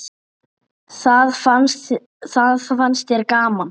Það fannst þér gaman.